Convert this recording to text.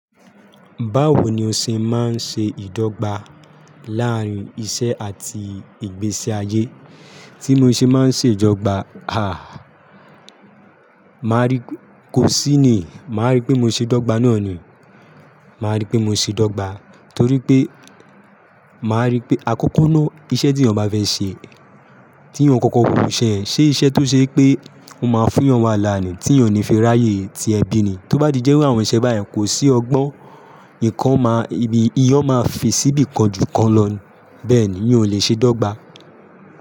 Báwo ni o ṣe máa ń ṣe ìdọ́gba láàárín iṣẹ́ àti ìgbésí ayé? Tí mo ṣe máa ń ṣe ìdọ́gba, à, Màá rí, kò sí ni, màá rí pé mo ṣe dọ́gba náà ni. Màá rí pé mo ṣe dọ́gba torí pé, màá rí pé àkókó náà iṣẹ́ tí èèyàn bá fẹ́ ṣe, tí ènìyàn kọ̀kọ́ wò iwu ṣe yẹn, ṣe iṣẹ́ tó ṣe pé, ó máa fún èèyàn wàhálà ni, tí ènìyàn ò ní fẹ́ ráyè ti ẹbí ni, tí ó bá di jẹ́ irú àwọn iṣẹ́ bá yẹn, kò sí ọgbọ́n, nǹkan máa, èèyàn máa fesi ibìkan jù kan lọ. Bẹ́ẹ̀ ni, mi ò lè ṣe dọ́gba.